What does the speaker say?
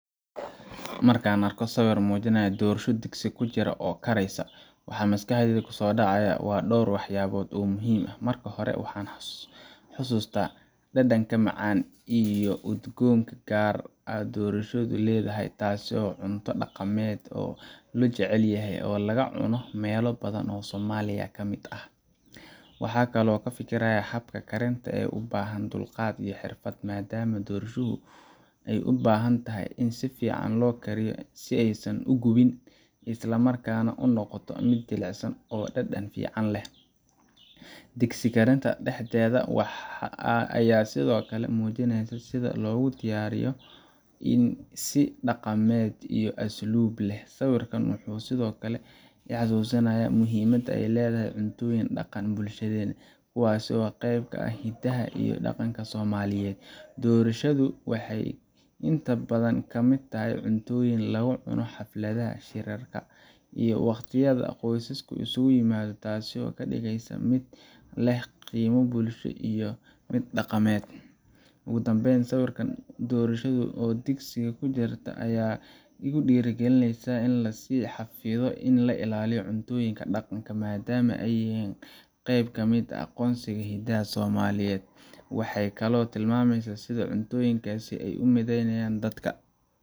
Markaan arko sawirka muujinaya dhoorsho digsi ku jirta oo karaysa, waxa maskaxdayda kusoo dhacaya dhowr waxyaalood oo muhiim ah. Marka hore, waxaan xasuustaa dhadhanka macaan iyo udgoonka gaarka ah ee dhoorshadu leedahay, taas oo ah cunto dhaqameed aad loo jecel yahay oo laga cuno meelo badan oo Soomaaliya ka mid ah. Waxaan kaloo ka fikiraa habka karinta ee u baahan dulqaad iyo xirfad, maadaama dhoorshadu ay u baahan tahay in si fiican loo kariyo si aysan u gubin, isla markaana ay u noqoto mid jilicsan oo dhadhan fiican leh. Digsi karinta dhexdeeda ah ayaa sidoo kale muujinaysa sida loogu diyaariyo si dhaqameed iyo asluub leh. Sawirkan wuxuu sidoo kale ii xusuusinayaa muhiimadda ay leedahay cuntooyinka dhaqanka ee bulshadeena, kuwaas oo qeyb ka ah hidaha iyo dhaqanka Soomaaliyeed. Dhoorshadu waxay inta badan ka mid tahay cuntooyinka lagu cuno xafladaha, shirarka, iyo wakhtiyada qoyska isugu yimaado, taas oo ka dhigaysa mid leh qiimo bulsho iyo mid dhaqameed. Ugu dambayn, sawirka dhoorshada oo digsi ku jirta ayaa igu dhiirrigeliya in la sii xafido oo la ilaaliyo cuntooyinka dhaqanka ah, maadaama ay yihiin qayb ka mid ah aqoonsiga iyo hiddaha Soomaaliyeed. Waxay kaloo tilmaamaysaa sida cuntooyinkaasi u mideeyaan dadka,